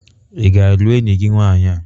Ị ga-alụ enyi gị nwaanyị a?